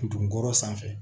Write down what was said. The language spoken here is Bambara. Ndugun kɔrɔ sanfɛ